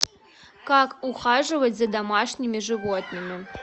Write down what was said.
как ухаживать за домашними животными